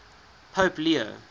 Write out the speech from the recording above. pope leo